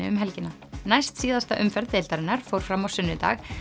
um helgina næst síðasta umferð deildarinnar fór fram á sunnudag